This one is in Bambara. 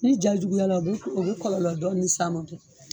Ni ja juguya la , o bɛ kɔlɔlɔ dɔnni s'an ma don